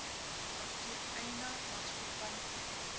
apteek eienaar maatskappy